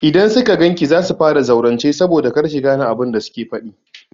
Idan suka gan ki za su fara zaurance saboda kar ki gane abin da suke faɗi.